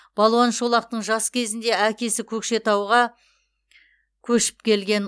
балуан шолақтың жас кезінде әкесі көкшетауға көшіп келген